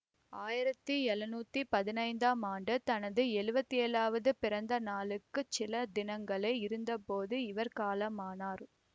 ஆயிரத்தி எழநூத்தி பதினைந்தாம் ஆண்டு தனது எழுவத்தி ஏழாவது பிறந்த நாளுக்குச் சில தினங்களே இருந்தபோது இவர் காலமானார்